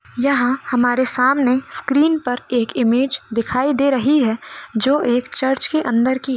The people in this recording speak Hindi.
यहां हमारे सामने स्क्रीन पर एक इमेज दिखाई दे रही है जो एक चर्च के अंदर की है।